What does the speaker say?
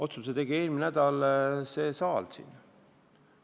Otsuse tegi eelmine nädal see saal siin.